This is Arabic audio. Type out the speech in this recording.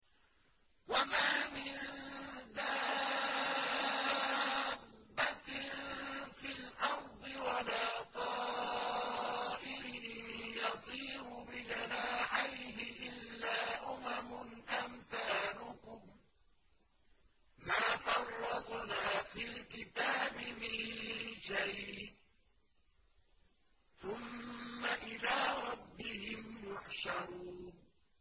وَمَا مِن دَابَّةٍ فِي الْأَرْضِ وَلَا طَائِرٍ يَطِيرُ بِجَنَاحَيْهِ إِلَّا أُمَمٌ أَمْثَالُكُم ۚ مَّا فَرَّطْنَا فِي الْكِتَابِ مِن شَيْءٍ ۚ ثُمَّ إِلَىٰ رَبِّهِمْ يُحْشَرُونَ